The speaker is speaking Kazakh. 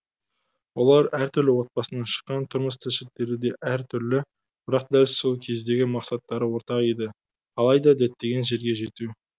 олар әртүрлі отбасынан шыққан тұрмыс тіршіліктері де әр түрлі бірақ дәл сол кездегі мақсаттары ортақ еді қалай да діттеген жерге жету